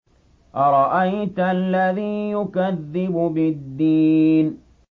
أَرَأَيْتَ الَّذِي يُكَذِّبُ بِالدِّينِ